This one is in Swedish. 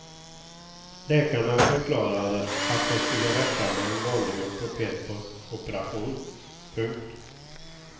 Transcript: Läkarna förklarade att det skulle räcka med en vanlig ortopedoperation. punkt